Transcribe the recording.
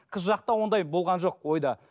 қыз жақта ондай болған жоқ ойда